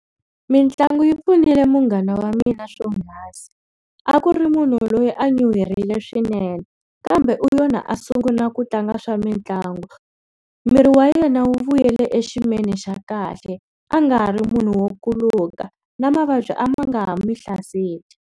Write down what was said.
Mitlangu yi pfunile munghana wa mina swogasi a ku ri munhu loyi a nyuherile swinene kambe u yona a sungula ku tlanga swa mitlangu miri wa yena wu vuyelele axiyimweni xa kahle a nga ha ri munhu wo kuluka na mavabyi a ma nga ha n'wi hlaseli.